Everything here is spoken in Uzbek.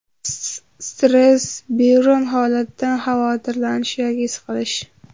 Stress Biron holatdan xavotirlanish yoki siqilish.